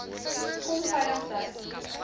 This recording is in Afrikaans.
kom veilig tuis